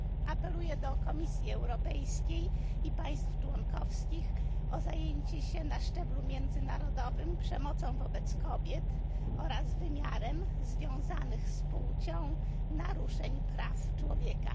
Apeluję do Komisji Europejskiej i państw członkowskich o zajęcie się na szczeblu międzynarodowym przemocą wobec kobiet oraz wymiarem związanych z płcią naruszeń praw człowieka.